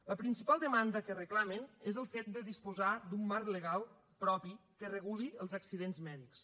la principal demanda que reclamen és el fet de disposar d’un marc legal propi que reguli els accidents mèdics